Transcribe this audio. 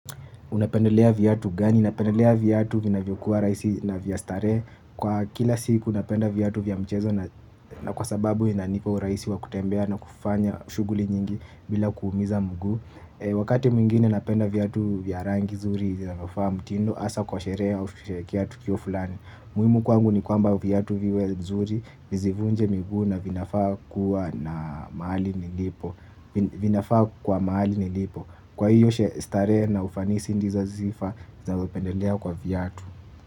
Unapendelea viatu gani? Unapendelea viatu vinavyokuwa raisi na vya starehe. Kwa kila siku napenda viatu vya mchezo na kwa sababu inanipa uraisi wa kutembea na kufanya shuguli nyingi bila kuumiza mguu. Wakati mwingine napenda vyatu vyarangi zuri, zinafaa mtindo, asa kwa sherea au sherekia tukio fulani. Muhimu kwangu ni kwamba vyatu viwe zuri, mzivunje mgu na vinafaa kuwa na maali nilipo. Vinafaa kwa maali nilipo. Kwa hiyo shi starehe na ufanisi ndizo zifa za wapendelea kwa vyatu.